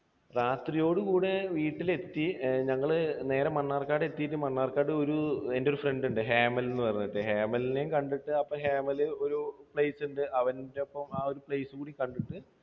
രാത്രിയോടെ കൂടെ വീട്ടിലെത്തി. ഞങ്ങൾ നേരെ മണ്ണാർക്കാട് എത്തിയിട്ട് മണ്ണാർക്കാട് എൻറെ ഒരു friend ഉണ്ട് ഹേമൽ എന്ന് പറഞ്ഞിട്ട്. ഹേമലിനെയും കണ്ടിട്ട് അപ്പോൾ ഹേമൽ ഒരു place ഉണ്ട്. അവനോടൊപ്പം ആ ഒരു place കൂടി കണ്ടിട്ട്